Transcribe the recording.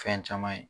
Fɛn caman ye